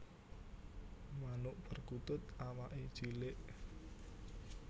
Manuk perkutut awaké cilik